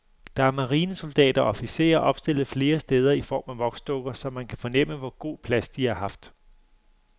Der er marinesoldater og officerer opstillet flere steder i form af voksdukker, så man kan fornemme, hvor god plads de har haft.